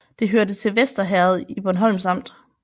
Det hørte til Vester Herred i Bornholms Amt